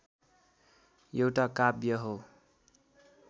एउटा काव्य हो